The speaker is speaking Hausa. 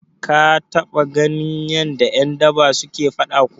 Ka taɓa ganin yadda ƴan daba suke faɗa kuwa?